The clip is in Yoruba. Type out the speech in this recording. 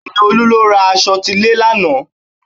Bẹ́ẹ̀ni, Olú lọ ra aṣọ tilẹ̀ lánàá